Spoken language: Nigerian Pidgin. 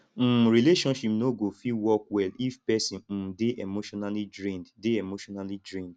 um relationship no go fit work well if pesin um dey emotionally drained dey emotionally drained